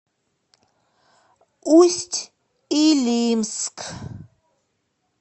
усть илимск